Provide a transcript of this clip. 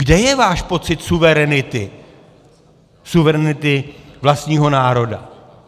Kde je váš pocit suverenity, suverenity vlastního národa?